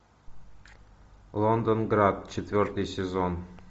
лондон град четвертый сезон